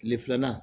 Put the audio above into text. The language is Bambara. Tile filanan